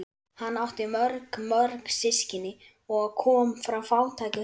Hann átti mjög mörg systkini og kom frá fátæku heimili.